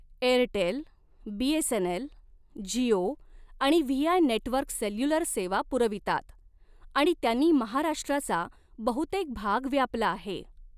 Airtel, BSNL, Jio आणि VI network cellular सेवा पुरवितात आणि त्यांनी महाराष्ट्राचा बहुतेक भाग व्यापला आहे.